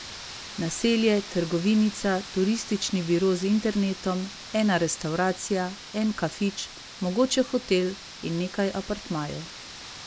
Naselje, trgovinica, turistični biro z internetom, ena restavracija, en kafič, mogoče hotel in nekaj apartmajev.